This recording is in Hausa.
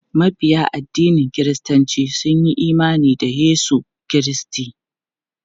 Mabiya addinin kiristanci sun yi imani da Yesu Kiristi.